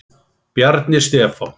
Bjarni Stefán.